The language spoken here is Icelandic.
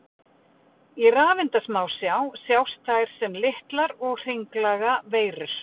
Í rafeindasmásjá sjást þær sem litlar og hringlaga veirur.